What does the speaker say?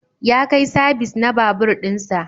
Ya kai sabis na babur din sa.